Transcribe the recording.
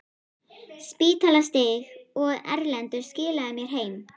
Spítalastíg, og Erlendur skilaði mér heim!